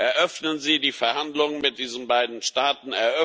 Eröffnen Sie die Verhandlungen mit diesen beiden Staaten!